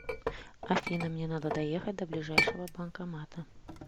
афина мне надо доехать до ближайшего банкомата